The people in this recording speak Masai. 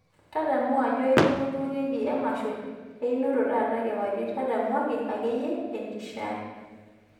tadamu ajo aipotuo duo keki ee emasho einoto taata kiwarie tadamuaki ake iyie enkishiaa